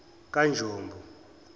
kanjombo